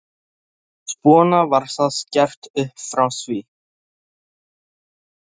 Svona var það gert upp frá því.